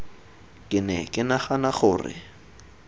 ke ne ke nagana gore